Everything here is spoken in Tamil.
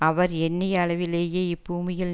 அவர் எண்ணிய அளவிலேயே இப்பூமியில்